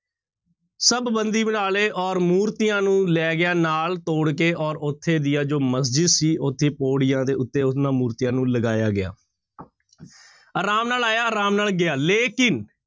ਸਭ ਬੰਦੀ ਬਣਾ ਲਏ ਔਰ ਮੂਰਤੀਆਂ ਨੂੰ ਲੈ ਗਿਆ ਨਾਲ ਤੋੜ ਕੇ ਔਰ ਉੱਥੇ ਦੀਆਂ ਜੋ ਮਸਜਿਦ ਸੀ ਉੱਥੇ ਪੌੜੀਆਂ ਦੇ ਉੱਤੇ ਉਹਨਾਂ ਮੂਰਤੀਆਂ ਨੂੰ ਲਗਾਇਆ ਗਿਆ ਆਰਾਮ ਨਾਲ ਆਇਆ ਆਰਾਮ ਨਾਲ ਗਿਆ ਲੇਕਿੰਨ